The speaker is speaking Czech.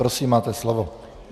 Prosím, máte slovo.